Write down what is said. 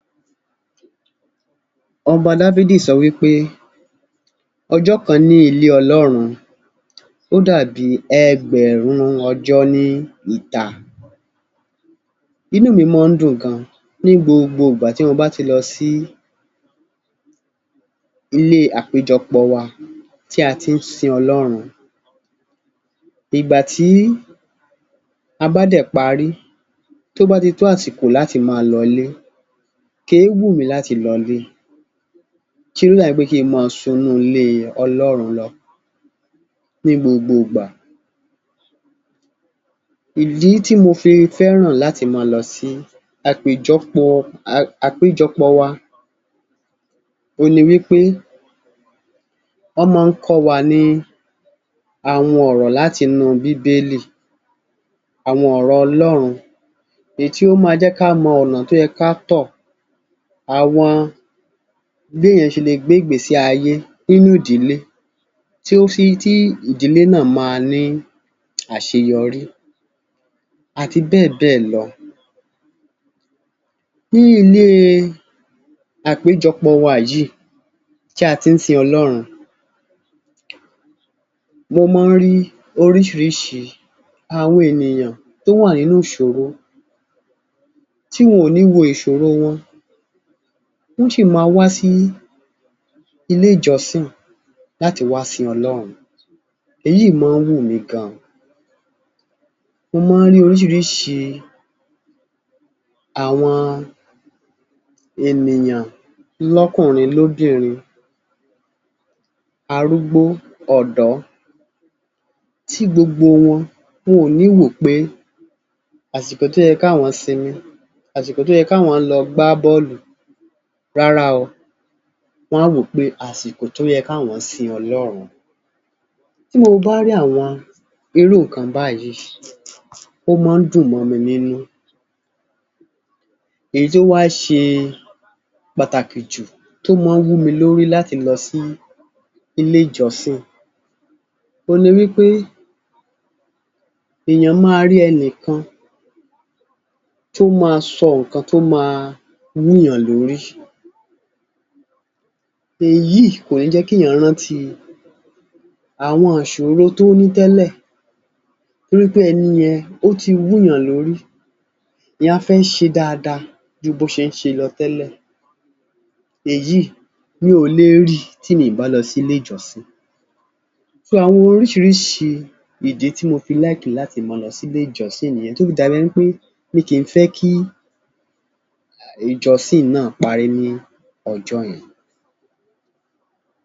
Ọba Dáfídì sọ wí pé ọjọ́ kan ní ilé Ọlọ́run, ó dàbí ẹgbẹ̀rún ọjọ́ ní ìta. Inú mi mọ́ ń dùn gan-an ní gbogbo ìgbà tí mo bá ti lọ sí ilé àpéjọpọ̀ wa tí a ti ń sin Ọlọ́run. Ìgbà tí a bá dẹ̀ parí, tó bá ti tó àsìkò láti máa lọ ilé, kì í wù mí láti lọ ilé ṣíṣe ló dàbí pé kí n mọ́ ọn sún ilé Ọlọ́run lọ ní gbogboògbà. Ìdí tí mo fi fẹ́ràn láti mọ́ ọn lọ sí àpèjọpọ̀ àpéjọpọ̀ wa òhun ni wí pé wọ́n mọ́ ọn ń kọ́ wa ní àwọn ọ̀rọ̀ láti inú bíbélì, àwọn ọ̀rọ̀ Ọlọ́run, èyí tí ó ma jẹ́ ká mọ ọ̀nà tó yẹ ká tọ̀. Àwọn béèyàn ṣe le gbé ìgbésí ayé nínú ìdílé tí ó fí, tí ìdílé náà ma ní àṣeyọrí àti bẹ́ẹ̀ bẹ́ẹ̀ lọ. Ní ilé àpéjọpọ̀ wa yìí, tí a ti ń sin Ọlọ́run, mo mọ́ n rí oríṣìíríṣìí àwọn ènìyàn tó wà nínú ìṣòro tí wọn ò ní wo ìṣòro wọn, wọ́n sì ma wá sí ilé ìjọ́sìn láti wá sin Ọlọ́run. Èyíìí mọ ọ́n wù mí gan-an. Mo mọ́ ọn rí oríṣìíríṣìí àwọn ènìyàn lọ́kùnrin, lóbìnrin, arúgbó, ọ̀dọ́, tí gbogbo wọn, wọn ò níí wò ó pé àsìkò tó yẹ káwọn sinmi, àsìkò tó yẹ káwọn lọ gbá bọ́ọ́lù, rárá o, Wọ́n á wò ó pé àsìkò tó yẹ káwọn sin Ọlọ́run. Tí Mo Bá rí àwọn irú nǹkan báyìí, ó mọ́ ọn ń dùn mọ́ mi nínú. Èyí tí ó wá ṣe pàtàkì jù tó mọ́ ọn ń wú mi lórí láti lọ sí ilé ìjọsìn, òhun ni wí pé èèyàn máa rí ẹnìkan kan tó ma sọ nǹkan tó ma wúùyàn lórí. Èyí kò ní jẹ́ kéèyàn rántí àwọn ìṣòro tó ti ní tẹ́lẹ̀ torí pé ẹni yẹn ó ti wúùyàn lórí èèyàn á fẹ́ ṣe dáadáa ju bó ti ṣe ń ṣe lọ tẹ́lẹ̀. Èyí mi ò le ríi tí mi ò bá lọ sílé ìjọsìn. So àwọn oríṣìíríṣìí ìdí tí mo fi like láti mọ́ ọn lọ sí ilé ìjọsìn nìyẹn tó fi dàbí ẹni pé mi kì í fẹ́ kí ìjọsìn náà parí ní ọjọ́ yẹn.